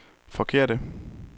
forkerte